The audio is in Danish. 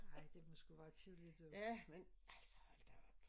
Ej det må sgu være kedeligt men altså hold da op